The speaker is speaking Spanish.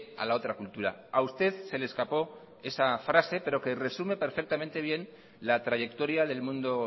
a la otra cultura a usted se le escapó esa frase pero que resumen perfectamente bien la trayectoria del mundo